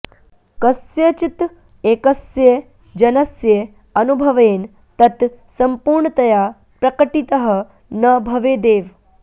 कस्यचित् एकस्य जनस्य अनुभवेन तत् सम्पूर्णतया प्रकटितः न भवेदेव